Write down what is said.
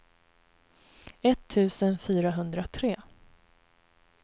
etttusen fyrahundratre